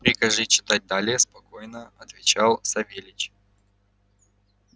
прикажи читать далее спокойно отвечал савельич